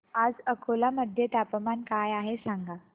आज अकोला मध्ये तापमान काय आहे सांगा